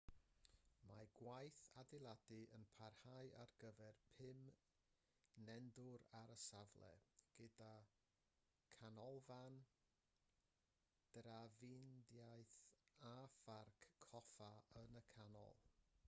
mae gwaith adeiladu yn parhau ar gyfer pum nendwr ar y safle gyda chanolfan drafnidiaeth a pharc coffa yn y canol